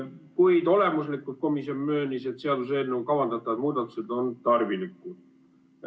Kuid komisjon möönis, et olemuslikult on seaduseelnõuga kavandatavad muudatused tarvilikud.